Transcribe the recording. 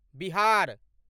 Bihar